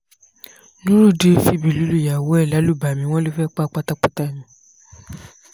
nurudeen fìbínú lùyàwó ẹ̀ lálùbami wọn ló fẹ́ pa á pátápátá ni